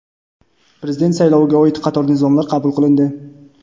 Prezident sayloviga oid qator nizomlar qabul qilindi.